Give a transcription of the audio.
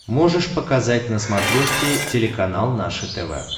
можешь показать на смотрешке телеканал наше тв